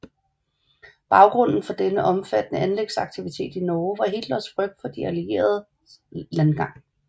Baggrunden for den omfattende anlægsaktivitet i Norge var Hitlers frygt for De Allieredes landgang